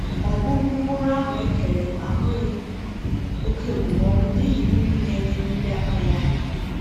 Ọgwụgwụ mkpụrụ ahụ ekere m ahụghị oke okpomọkụ n’ihi mmiri na-enye mmiri akpaghị aka.